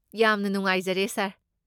ꯌꯥꯝꯅ ꯅꯨꯡꯉꯥꯏꯖꯔꯦ, ꯁꯥꯔ꯫